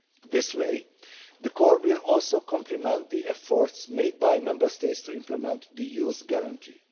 This way, the Corps will also complement the efforts made by Member States to implement the Youth Guarantee.